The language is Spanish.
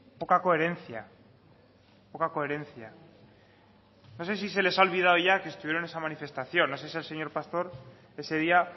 poca coherencia poca coherencia no sé si se les ha olvidado ya que estuvieron en esa manifestación no sé si el señor pastor ese día